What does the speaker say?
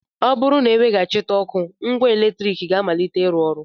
Ọ bụrụ na e weghachịte ọkụ, ngwa eletrik ga-amalite ịrụ ọrụ